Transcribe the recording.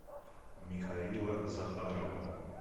михаила захарова